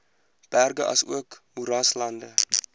berge asook moeraslande